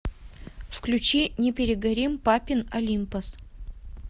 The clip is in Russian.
включи не перегорим папин олимпос